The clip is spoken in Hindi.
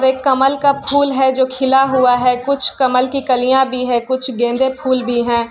एक कमल फूल है जो खिला हुआ है कुछ कमल की कलियाँ भी हैं कुछ गेंदे फूल भी हैं।